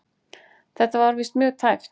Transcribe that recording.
Þetta var víst mjög tæpt.